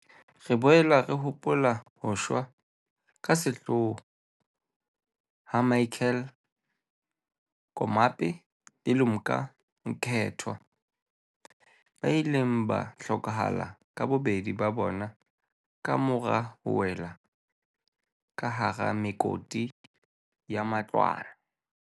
Re boela re hopola ho shwa ka sehloho ha Michael Komape le Lumka Mkethwa, ba ileng ba hlokahala ka bobedi ba bona kamora ho wela ka hara mekoti ya matlwana.